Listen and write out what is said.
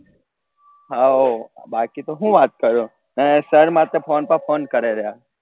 how બાકી તો હું વાત કરું એને sir માથે phone પર phone કરે રહ્યા